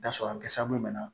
N'a sɔrɔ a kɛ sababu ye bana